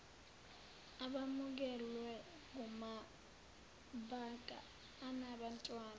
abamukelwe kumabanga anabantwana